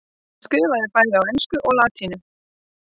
hann skrifaði bæði á ensku og latínu